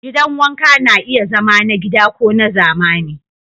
Gidan wanka na iya zama na gida ko na zamani.